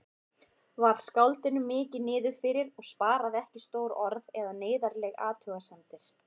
Var skáldinu mikið niðrifyrir og sparaði ekki stór orð eða neyðarlegar athugasemdir.